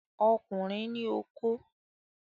Ọkùnrin ní okó.